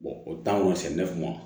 o taa misɛn ma